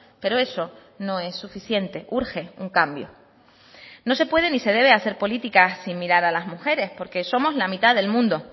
pero eso no es suficiente urge un cambio no se puede ni se debe hacer políticas sin mirar a las mujeres porque somos la mitad del mundo